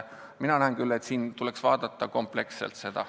Mina näen küll, et siin tuleks läheneda kompleksselt.